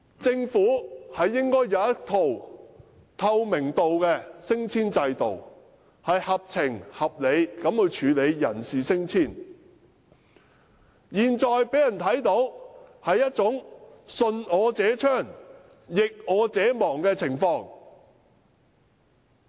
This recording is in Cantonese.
政府應有一套透明的升遷制度，合情合理地處理人事升遷事宜，但現時的處境卻是"順我者昌，逆我者亡"。